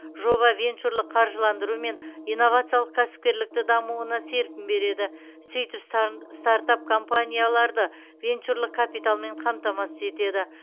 жоба венчурлық қаржыландыру мен инновациялық кәсіпкерліктің дамуына серпін береді сөйтіп стартап компанияларды венчурлық капиталмен қамтамасыз етеді